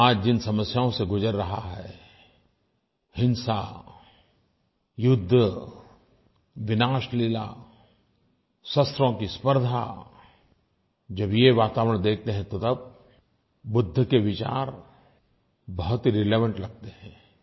विश्व आज जिन समस्याओं से गुज़र रहा है हिंसा युद्ध विनाशलीला शस्त्रों की स्पर्द्धा जब ये वातावरण देखते हैं तो तब बुद्ध के विचार बहुत ही रिलेवेंट लगते हैं